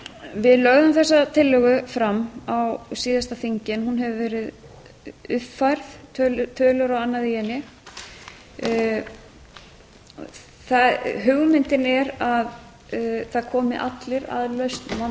við lögðum þessa tillögu fram á síðasta þingi en hún hefur verið uppfærð tölur og annað í henni hugmyndin er að það komi allir að